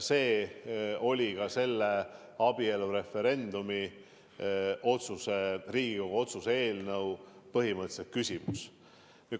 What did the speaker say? See oli ka selle Riigikogu otsuse eelnõu kohaselt abielureferendumi põhimõtteline küsimus.